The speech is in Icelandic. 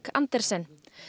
Andersen